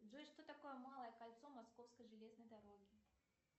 джой что такое малое кольцо московской железной дороги